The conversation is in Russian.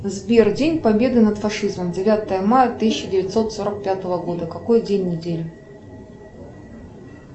сбер день победы над фашизмом девятое мая тысяча девятьсот сорок пятого года какой день недели